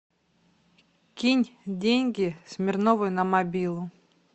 кинь деньги смирновой на мобилу